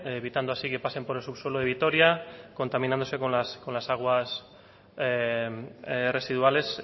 evitando así que pasen por el subsuelo de vitoria contaminándose con las aguas residuales